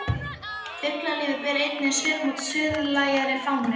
Fuglalífið ber einnig svipmót suðlægari fánu.